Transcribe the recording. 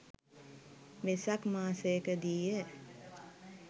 Vesak මාසයකදීය.